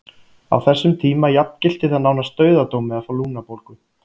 Á þessum tíma jafngilti það nánast dauðadómi að fá lungnabólgu.